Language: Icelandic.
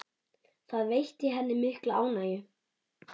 Það veitti henni mikla ánægju.